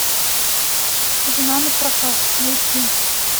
жена напрокат найти